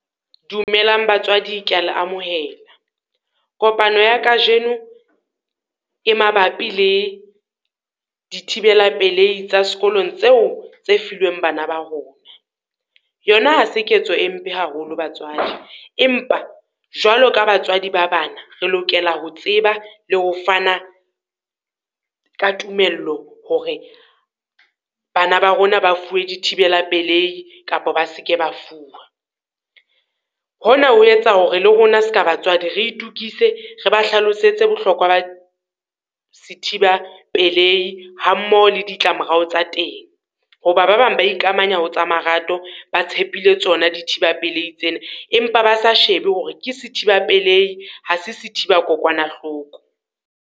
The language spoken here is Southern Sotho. Dumelang batswadi ke ya le amohela, kopano ya kajeno e mabapi le dithibela pelehi tsa sekolong tseo tse filweng bana ba rona. Yona ha se ketso e mpe haholo batswadi empa jwalo ka batswadi ba bana, re lokela ho tseba le ho fana ka tumello hore bana ba rona ba fuwe di thibela pelehi kapo ba seke ba fuwa. Hona ho etsa hore le rona ska batswadi re itokise re ba hlalosetse bohlokwa ba sethiba pelehi, hammoho le ditlamorao tsa teng. Ho ba ba bang ba ikamanya ho tsa marato, ba tshepile tsona dithiba pelehi tsena, empa ba sa shebe hore ke sethiba peledi ha se sethiba kokwanahloko.